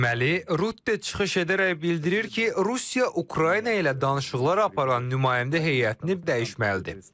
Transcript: Deməli, Rutte çıxış edərək bildirir ki, Rusiya Ukrayna ilə danışıqlar aparan nümayəndə heyətini dəyişməlidir.